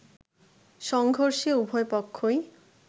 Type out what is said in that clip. সংঘর্ষে উভয়পক্ষই